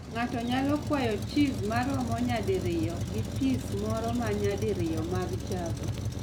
Ng'ato nyalo kwayo cheese maromo nyadiriyo gi piese moko ma nyadiriyo mag java.